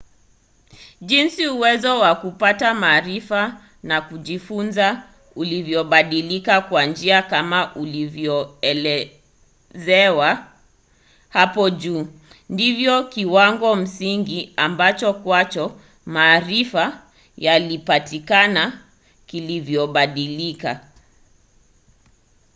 jinsi uwezo wa kupata maarifa na kujifunza ulivyobadilika kwa njia kama ilivyoelezewa hapo juu ndivyo kiwango msingi ambacho kwacho maarifa yalipatikana kilivyobadilika